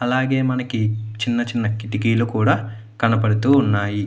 అలాగే మనకి చిన్న చిన్న కితికుల్లు కూడా కనబడుతూ వున్నాయ్.